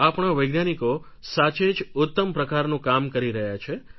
આપણા વૈજ્ઞાનિકો સાચે જ ઉત્તમ પ્રકારનું કામ કરી રહ્યા છે